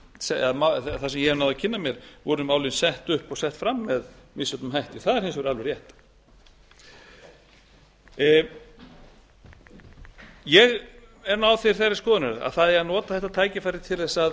málið eða það sem ég náði að kynna mér voru málin sett upp og sett fram með misjöfnum hætti það er hins vegar alveg rétt ég er þeirrar skoðunar að það eigi að nota þetta tækifæri til þess að